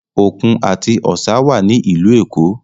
Òkun àti Ọ̀sà wà ní ìlú Èkó